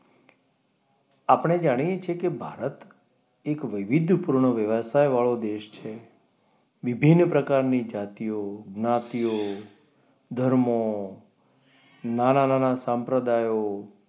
આપણે જાણીએ છીએ કે ભારત એક વૈવિધ્ય પૂર્ણ વ્યવસાય વાળો દેશ છે. વિભિન્ન પ્રકારની જાતિ જ્ઞાતિઓ ધર્મ નાના નાના સાંપ્રદાયો,